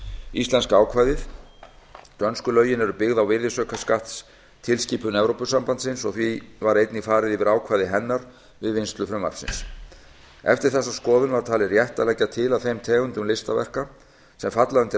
íslenska ákvæðið dönsku lögin eru byggð á virðisaukaskattstilskipun evrópusambandsins og því var einnig farið yfir ákvæði hennar við vinnslu frumvarpsins eftir þessa skoðun var talið rétt að leggja til að þeim tegundum listaverka sem falla undir